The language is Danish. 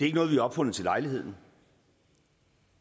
ikke noget vi har opfundet til lejligheden